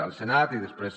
al senat i després